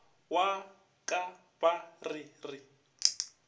wa ka ba re re